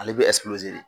Ale bɛ de